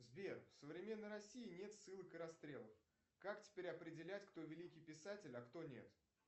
сбер в современной россии нет ссылок и расстрелов как теперь определять кто великий писатель а кто нет